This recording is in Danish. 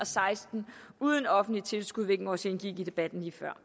seksten uden offentligt tilskud hvilket også indgik i debatten lige før